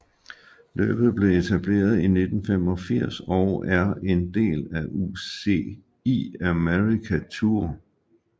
Løbet blev etableret i 1985 og er en del af UCI America Tour